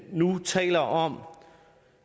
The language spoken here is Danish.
nu taler om